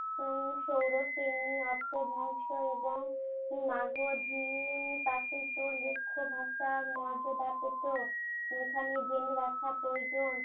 উম সৌরসেনী, অপ্রভ্রংশ এবং মাগধী প্রাকৃত লেখ্য ভাষার মর্যাদা পেত। এখানে জেনে রাখা প্রয়োজন